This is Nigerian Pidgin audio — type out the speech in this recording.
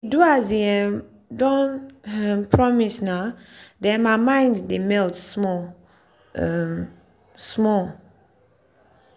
he do as e um don um promise nah then my mind dey melt small um small.